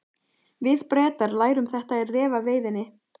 Við Bretar lærum þetta í refaveiðinni.